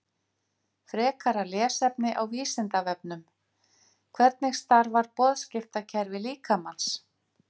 Frekara lesefni á Vísindavefnum: Hvernig starfar boðskiptakerfi líkamans?